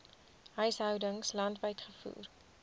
huishoudings landwyd gevoer